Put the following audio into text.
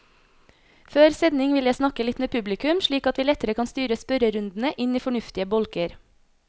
Før sending vil jeg snakke litt med publikum, slik at vi lettere kan styre spørrerundene inn i fornuftige bolker.